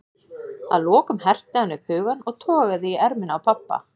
Að lokum herti hann upp hugann og togaði í ermina á pabba.